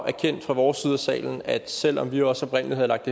erkendt fra vores side af salen at selv om vi også oprindelig havde lagt